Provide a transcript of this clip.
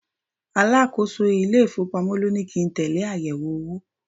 Alákòóso ile-ifowopamo ló ní kí n tẹle àyẹ̀wò owó.